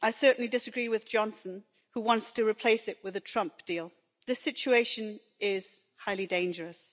I certainly disagree with Johnson, who wants to replace it with a Trump deal. This situation is highly dangerous.